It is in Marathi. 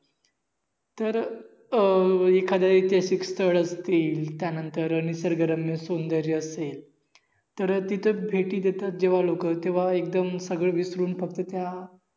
तर अह एखाध्या ऐतिहासिक स्थळ वरती त्यानंतर निसर्ग रम्य सौदर्य असेल तर तिथे भेटी देतात जेव्हा लोक तेव्हा एगदम सगळं विसरून फक्त त्या